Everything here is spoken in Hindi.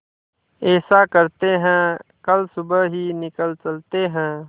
ऐसा करते है कल सुबह ही निकल चलते है